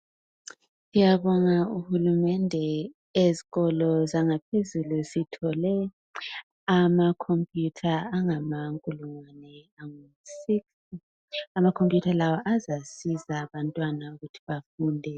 Ngiyabonga uhulumende ezikolo zangaphezulu zithole ama computer angamankulungwane angusix. Amacomputer lawa azasiza abantwana ukuthi bafunde.